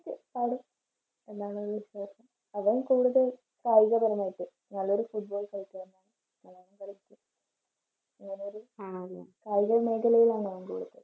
പാടും അവൻ കൂടുതൽ കായിക പരമായിട്ട് നല്ലൊരു football കളിക്കാരനാണ്. കായിക മേഖലയാണ് അവൻറെ